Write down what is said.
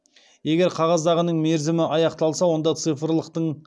егер қағаздағының мерзімі аяқталса